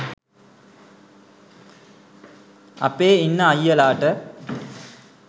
අපේ ඉන්න අය්යලාට